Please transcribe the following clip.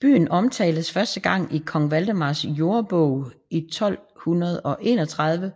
Byen omtales første gang i kong Valdemars Jordebog i 1231